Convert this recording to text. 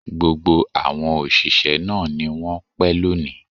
Gbogbo àwọn òṣìṣẹ́ náà ni wọ́n pẹ́ lónìí